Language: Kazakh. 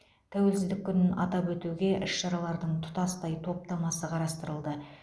тәуелсіздік күнін атап өтуге іс шаралардың тұтастай топтамасы қарастырылды